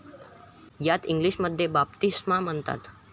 यास इंग्लिशमध्ये बाप्तिस्मा म्हणतात.